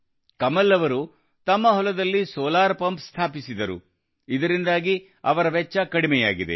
ಕಮಲ್ ಅವರು ತಮ್ಮ ಹೊಲದಲ್ಲಿ ಸೋಲಾರ್ ಪಂಪ್ ಅನ್ನು ಸ್ಥಾಪಿಸಿದರು ಇದರಿಂದಾಗಿ ಅವರ ವೆಚ್ಚ ಕಡಿಮೆಯಾಗಿದೆ